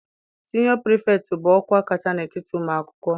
Siniọ pirifektị bụ ọkwa kacha n'etiti ụmụ akwụkwọ.